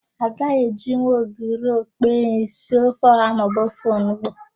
A gaghị ejinwu ogiri okpei sie ofe ọ̀há maọbụ ofe onugbu.